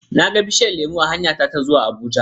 na ga bishiyar lemu a hanyata ta zuwa Abuja.